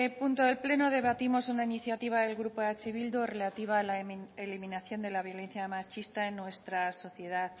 punto del pleno debatimos una iniciativa del grupo eh bildu relativa a la eliminación de la violencia machista en nuestra sociedad